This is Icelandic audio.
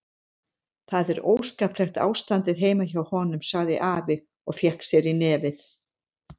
Það er óskaplegt ástandið heima hjá honum, sagði afi og fékk sér í nefið.